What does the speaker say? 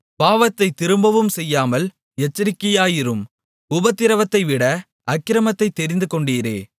பாவத்தைத் திரும்பவும் செய்யாமல் எச்சரிக்கையாயிரும் உபத்திரவத்தைவிட அக்கிரமத்தைத் தெரிந்துகொண்டீரே